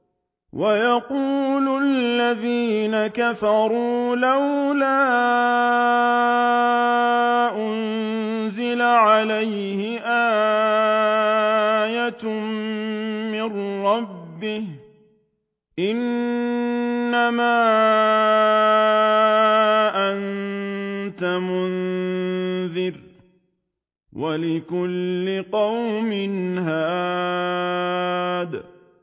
وَيَقُولُ الَّذِينَ كَفَرُوا لَوْلَا أُنزِلَ عَلَيْهِ آيَةٌ مِّن رَّبِّهِ ۗ إِنَّمَا أَنتَ مُنذِرٌ ۖ وَلِكُلِّ قَوْمٍ هَادٍ